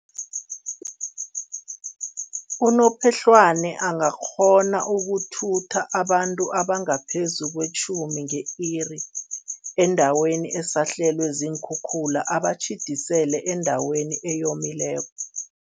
Unophehlwane angakghona ukuthutha abantu abangaphezu kwetjhumi nge-iri endaweni esahlelwe ziinkhukhula, abatjhidisele endaweni eyomileko.